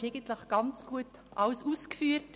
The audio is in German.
Sie haben eigentlich alles sehr gut ausgeführt.